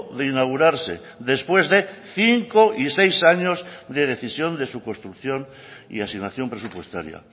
de inaugurarse después de cinco y seis años de decisión de su construcción y asignación presupuestaria